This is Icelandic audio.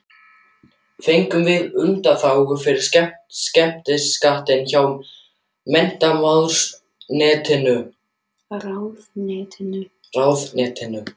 Fengum við undanþágu frá skemmtanaskatti hjá menntamálaráðuneytinu.